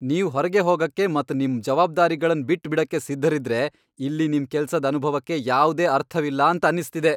ನೀವ್ ಹೊರ್ಗೆ ಹೋಗಕೆ ಮತ್ ನಿಮ್ ಜವಾಬ್ದಾರಿಗಳನ್ ಬಿಟ್ ಬಿಡಕ್ಕೆ ಸಿದ್ಧರಿದ್ದರೆ ಇಲ್ಲಿ ನಿಮ್ ಕೆಲ್ಸದ್ ಅನುಭವಕ್ಕೆ ಯಾವ್ದೇ ಅರ್ಥವಿಲ್ಲ ಅಂತ ಅನ್ನಿಸ್ತಿದೆ.